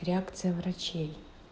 реакция врачей